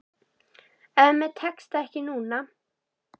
En mér tekst það ekki núna.